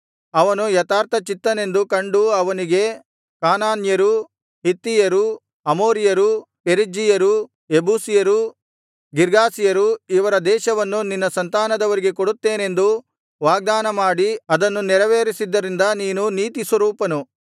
ಅವನು ಯಥಾರ್ಥಚಿತ್ತನೆಂದು ಕಂಡು ಅವನಿಗೆ ಕಾನಾನ್ಯರು ಹಿತ್ತಿಯರು ಅಮೋರಿಯರು ಪೆರಿಜ್ಜೀಯರು ಯೆಬೂಸಿಯರು ಗಿರ್ಗಾಷಿಯರು ಇವರ ದೇಶವನ್ನು ನಿನ್ನ ಸಂತಾನದವರಿಗೆ ಕೊಡುತ್ತೇನೆಂದು ವಾಗ್ದಾನಮಾಡಿ ಅದನ್ನು ನೆರವೇರಿಸಿದ್ದರಿಂದ ನೀನು ನೀತಿಸ್ವರೂಪನು